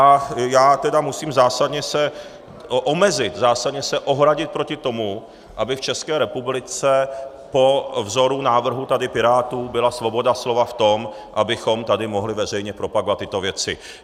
A já tedy musím zásadně se omezit, zásadně se ohradit proti tomu, aby v České republice po vzoru návrhu tady Pirátů byla svoboda slova v tom, abychom tady mohli veřejně propagovat tyto věci.